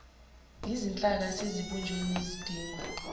yizinhlaka esezibunjiwe nezidingwa